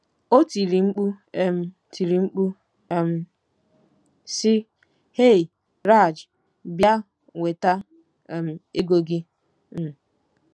O tiri mkpu um tiri mkpu um, sị: “ Hey, Raj, bịa nweta um ego gị. um